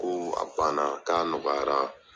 Ko a ganna k'a nɔgɔyara